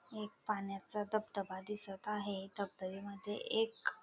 एक पाण्याचा धबधबा दिसत आहे धबधब्यामध्ये एक--